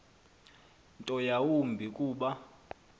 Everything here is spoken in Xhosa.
nto yawumbi kuba